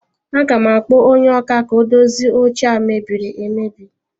Aga m akpọ onye ọkà ka o dozie oche a mebiri emebi